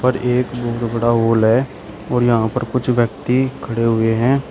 और एक बहोत बड़ा हाल है और यहां पर कुछ व्यक्ति खड़े हुए हैं।